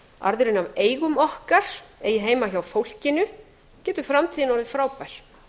arðurinn af eigum okkar eigi heima hjá fólkinu getur framtíðin orðið frábær